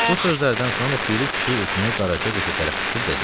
Bu sözlərdən sonra Piri kişi üzünü qaraca qıza tərəf tutub dedi: